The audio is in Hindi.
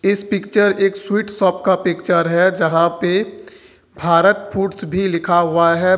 इस पिक्चर एक स्वीट शॉप का पिक्चर है जहां पे भारत फूड्स भी लिखा हुआ है।